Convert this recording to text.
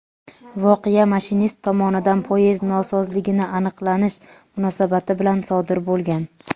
voqea mashinist tomonidan poyezd nosozligini aniqlanish munosabati bilan sodir bo‘lgan.